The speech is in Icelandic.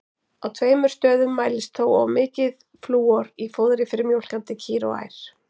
Á tveimur stöðum mælist þó of mikið flúor í fóðri fyrir mjólkandi kýr og ær.